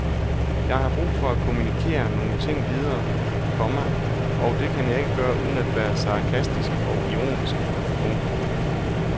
Jeg har brug for at kommunikere nogle ting videre, komma og det kan jeg ikke gøre uden at være sarkastisk og ironisk. punktum